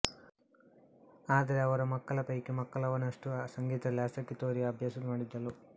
ಆದರೆ ಅವರ ಮಕ್ಕಳ ಪೈಕಿ ಮಲಕವ್ವನಷ್ಟು ಸಂಗೀತದಲ್ಲಿ ಆಸಕ್ತಿ ತೋರಿ ಅಭ್ಯಾಸ ಮಾಡಿದ್ದಳು